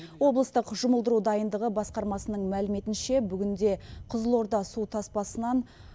облыстық жұмылдыру дайындығы басқармасының мәліметінше бүгінде қызылорда су тоспасынан